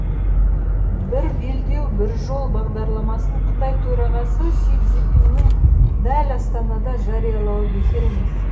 бір белдеу бір жол бағдарламасын қытай төрағасы си цзиньпиннің дәл астанада жариялауы бекер емес